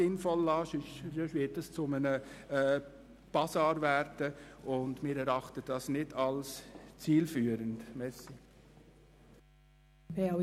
Sollte der Artikel aber zurück in die Kommission gegeben werden, fände das die FDP nicht sinnvoll.